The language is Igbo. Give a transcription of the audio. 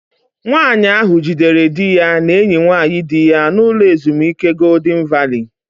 Nwaanyi ahu jidere dị ya na enyi nwaanyị di ya n'ụlọ ezumike Goldịn Valii